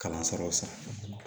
Kalansaraw san